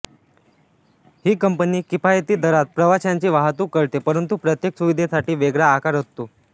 ही company किफायती दरात प्रवाशांची वाहतूक करते परंतु प्रत्येक सुविधेसाठी वेगळा आकार असतो